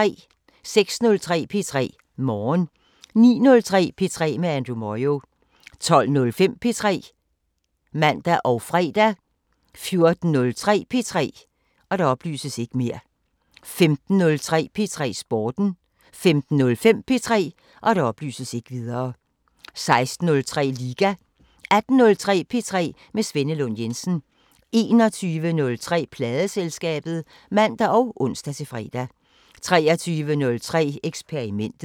06:03: P3 Morgen 09:03: P3 med Andrew Moyo 12:05: P3 (man og fre) 14:03: P3 15:03: P3 Sporten 15:05: P3 16:03: Liga 18:03: P3 med Svenne Lund Jensen 21:03: Pladeselskabet (man og ons-fre) 23:03: Eksperimentet